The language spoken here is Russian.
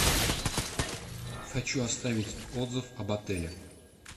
хочу оставить отзыв об отеле